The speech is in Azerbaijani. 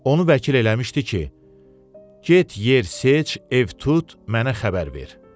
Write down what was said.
Onu vəkil eləmişdi ki, get, yer seç, ev tut, mənə xəbər ver.